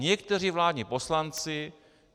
Někteří vládní poslanci.